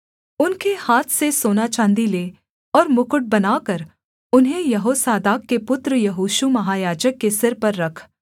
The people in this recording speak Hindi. उनके हाथ से सोना चाँदी ले और मुकुट बनाकर उन्हें यहोसादाक के पुत्र यहोशू महायाजक के सिर पर रख